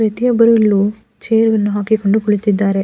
ವ್ಯಕ್ತಿಯೊಬ್ಬರು ಇಲ್ಲಿ ಚೈರ್ ಅನ್ನು ಹಾಕಿ ಕೊಂಡು ಕುಳಿತ್ತಿದ್ದಾರೆ.